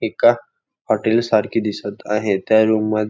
एका हॉटेल सारखे दिसत आहे त्या रूम मध--